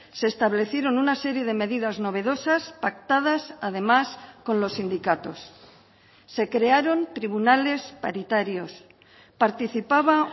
se establecieron una serie de medidas novedosas pactadas además con los sindicatos se crearon tribunales paritarios participaba